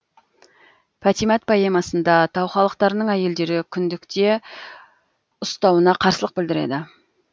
патимат поэмасында тау халықтарының әйелдері күндікте ұстауына қарсылық білдіреді